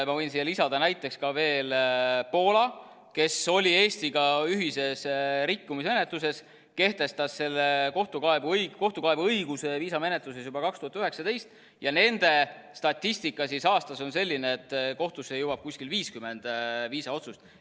Ma võin siia lisada näiteks ka veel Poola, kes oli Eestiga ühises rikkumismenetluses, kehtestas kohtukaebeõiguse viisamenetluses juba 2019, ja nende statistika aastas on selline, et kohtusse jõuab kuskil 50 viisaotsust.